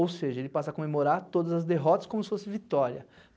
Ou seja, ele passa a comemorar todas as derrotas como se fosse vitória.